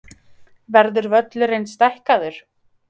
Verður völlurinn stækkaður?